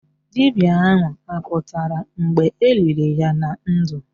Dibịa ahụ apụtara mgbe eliri ya na ndụ?